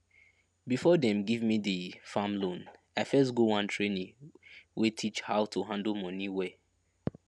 before dem give me the farm loan i first go one training wey teach how to handle moni well